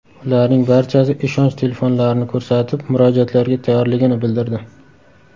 Ularning barchasi ishonch telefonlarini ko‘rsatib, murojaatlarga tayyorligini bildirdi.